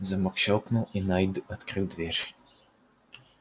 замок щёлкнул и найд открыл дверь